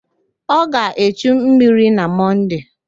Ọ ga-echu mmiri na Mọnde.